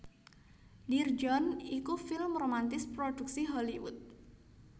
Dear John iku film romantis prodhuksi Hollywood